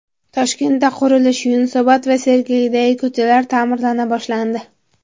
Toshkentda qurilish: Yunusobod va Sergelidagi ko‘chalar ta’mirlana boshlandi.